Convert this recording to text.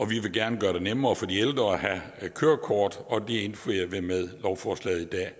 vi vil gerne gøre det nemmere for de ældre at have kørekort og det indfrier vi med lovforslaget i dag